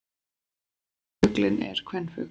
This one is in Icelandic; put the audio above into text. Efri fuglinn er kvenfugl.